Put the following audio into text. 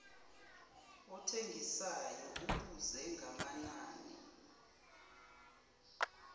othengisayo ubuze ngamanani